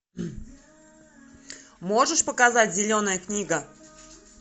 можешь показать зеленая книга